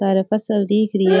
सार फसल दिख री है।